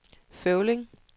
Føvling